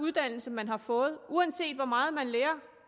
uddannelse man har fået uanset hvor meget man lærer om